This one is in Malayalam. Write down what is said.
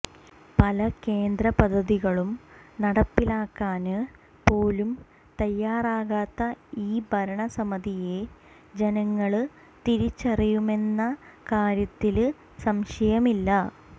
പല കേന്ദ്ര പദ്ധതികളും നടപ്പിലാക്കാന് പോലും തയ്യാറാകാത്ത ഈ ഭരണസമിതിയെ ജനങ്ങള് തിരിച്ചറിയുമെന്ന കാര്യത്തില് സംശയമില്ല